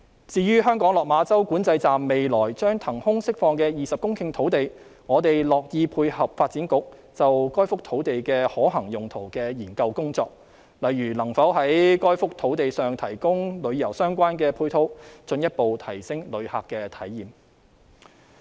至於香港落馬洲管制站未來將騰空釋放的20公頃土地，我們樂意配合發展局就該幅土地的可行用途的研究工作，例如能否在該幅土地上提供與旅遊相關的配套，進一步提升旅客體驗。